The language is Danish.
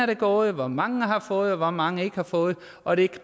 er gået og hvor mange der har fået og hvor mange der ikke har fået og det